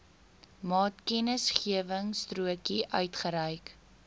maatkennisgewingstrokie uitgereik